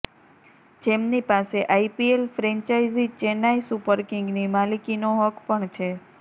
જેમની પાસે IPL franchise Chennai super કિંગની માલિકીનો હક પણ છે